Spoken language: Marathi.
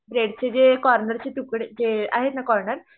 ब्रेडचेर जे कॉर्नरचे जे तुकडे जे आहेतनां कॉर्नर